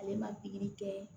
Ale ma pikiri kɛ